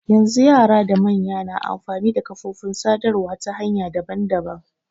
Yanzu yara da manya na amfani da kafofin sadarwa ta hanya daban daban.